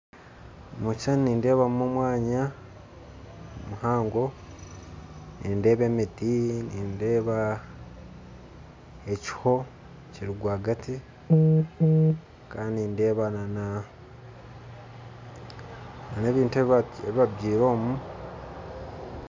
Omu kishushani nindeebamu omwanya muhango, nindeeba emiti hamwe n'ekiho kirirwagati kandi nindeeba n'ebintu ebi babyiremu omu